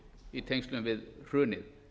í tengslum við hrunið